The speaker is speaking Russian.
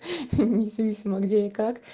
независимо где и как